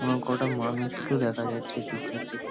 অনেক কটা মানুষকেও দেখা যাচ্ছে এই পিকচার -টিতে।